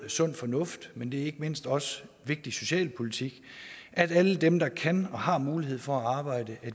sund fornuft men det er ikke mindst også vigtig socialpolitik at alle dem der kan og har mulighed for at arbejde